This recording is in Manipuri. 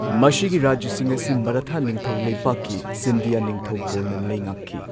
ꯃꯁꯤꯒꯤ ꯔꯥꯖ꯭ꯌꯥꯁꯤꯡ ꯑꯁꯤ ꯃꯔꯥꯊꯥ ꯅꯤꯡꯊꯧ ꯂꯩꯄꯥꯛꯀꯤ ꯁꯤꯟꯙꯤꯌꯥ ꯅꯤꯡꯊꯧꯀꯣꯜꯅ ꯂꯩꯉꯥꯛꯈꯤ꯫